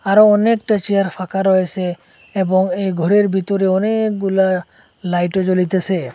আরও অনেকটা চেয়ার ফাকা রয়েছে এবং এ ঘরের ভিতরে অনেকগুলা লাইটও জ্বলিতেসে।